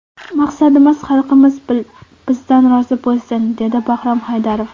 Maqsadimiz xalqimiz bizdan rozi bo‘lsin”, dedi Bahrom Haydarov.